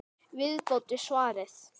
Viðbót við svarið